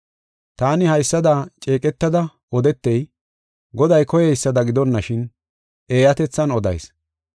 Taani haysada ceeqetada odetey, Goday koyeysada gidonashin, eeyatethan odayis.